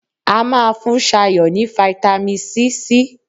A máa fún Sayo ní fitamisi C.